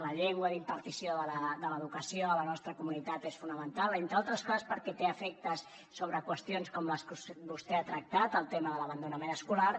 la llengua d’impartició de l’educació a la nostra comunitat és fonamental entre altres coses perquè té efectes sobre qüestions com les que vostè ha tractat el tema de l’abandonament escolar